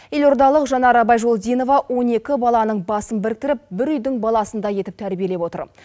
елордалық жанара байжолдинова он екі баланың басын біріктіріп бір үйдің баласындай етіп тәрбиелеп отыр